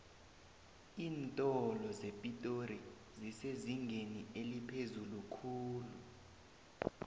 iintolo zepitori zisezingeni eliphezulu khulu